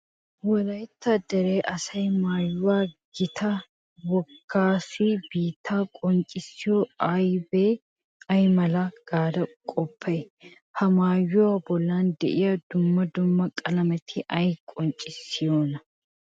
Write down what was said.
Wolaytta dere asaa maayuwa gittaa wogaassi biittaa qonccissiyo abbee ay mala gaada qoppay? Ha maayuwa bollan de'iya dumma dumma qalameti ay qonccissiyonaa?